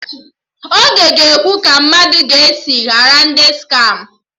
Ogo ga-ekwu ka mmadụ ga-esi ghara ndị skama